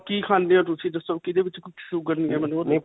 ਕੀ ਖਾਂਦੇ ਹੋ ਤੁਸੀਂ ਦੱਸੋ ਕਿਦੇ ਵਿੱਚ sugar ਨਹੀਂ ਹੈ ਮੈਨੂੰ ਓਹ ਦੱਸੋ.